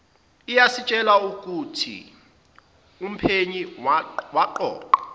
iyasitshela ukuthiumphenyi waqoqa